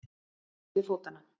Á milli fótanna.